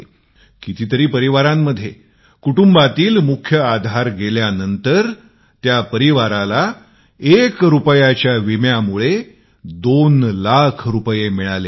कितीतरी परिवारात एक रुपायाच्या विम्यामुळे कुटुंबातील मुख्य आधाराला काही झाले तर त्याच्या परिवाराला 2 लाख रुपये मिळतील